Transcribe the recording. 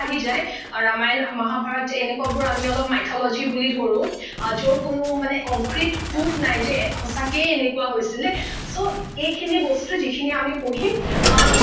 আহি যায় ৰামায়ন মহাভাৰত এনেকোৱা বোৰ আমি অলপ mythology বুলি ধৰো যৰ কোনো concrete prof নাই যে সচাঁকেই এনেকোৱা হৈছিলে so এইখিনি বস্তু যিখিনি আমি পঢ়িম আহ